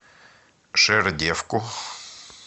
жердевку